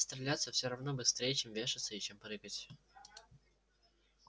стреляться все равно быстрей чем вешаться и чем прыгать